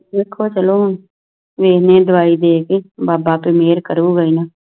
ਵੇਖੋ ਚਲੋ ਵੇਖਦੇ ਆਂ ਦਵਾਈ ਦੇ ਕਿ ਬਾਬਾ ਤੇ ਮੇਹਰ ਕਾਰੁ ਗਏ ਏ ਨਾ